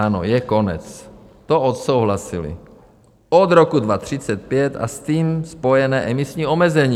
Ano, je konec, to odsouhlasili od roku 2035 a s tím spojené emisní omezení.